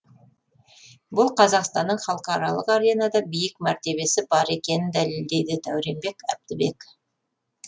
бұл қазақстанның халықаралық аренада биік мәртебесі бар екенін дәлелдейді дәуренбек әбдібек